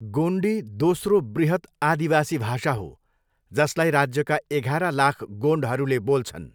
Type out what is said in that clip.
गोन्डी दोस्रो बृहत् आदिदिवासी भाषा हो, जसलाई राज्यका एघार लाख गोन्डहरूले बोल्छन्।